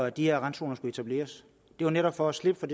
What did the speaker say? at de her randzoner skulle etableres det var netop for at slippe for